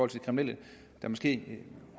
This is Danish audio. de kriminelle der måske